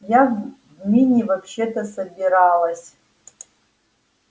я в мини вообще-то собиралась